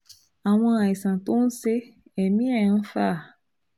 Àwọn àìsàn tó ń ṣe ẹ̀mí ẹ̀ ẹ̀ ń fà á